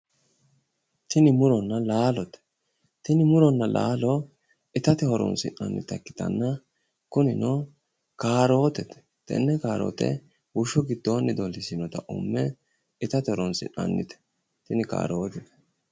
Tini muronna laalote, tini muronna laalo itate horoonsi'nannita ikkitanna kunino kaarotete, tenne kaarote bushshu giddonni dollisinota umme itatte horonsi'nannite tini kaaroote.